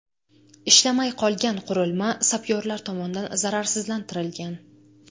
Ishlamay qolgan qurilma sapyorlar tomonidan zararsizlantirilgan.